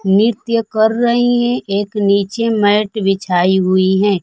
नृत्य कर रही हैं एक नीचे मैट बिछाई हुई हैं।